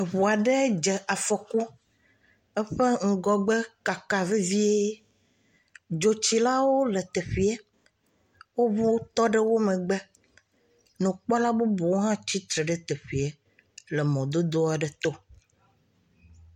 Eʋua ɖe dze Afɔku. Eƒe ŋgɔgbe kaka vevie. Dzɔtsilawo le teƒea. Woƒe ʋuwo tɔ ɖe megbe. Nukpɔla bubuwo hã tsitre ɖe teƒea le mɔdodo aɖe to